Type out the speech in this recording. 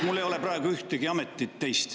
Mul ei ole praegu ühtegi teist ametit.